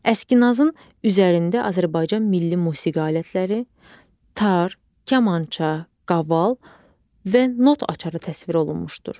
Əskinasın üzərində Azərbaycan milli musiqi alətləri, tar, kamança, qaval və not açarı təsvir olunmuşdur.